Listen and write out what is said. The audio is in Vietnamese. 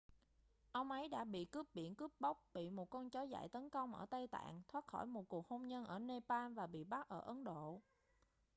ông ấy đã bị cướp biển cướp bóc bị một con chó dại tấn công ở tây tạng thoát khỏi một cuộc hôn nhân ở nepal và bị bắt ở ấn độ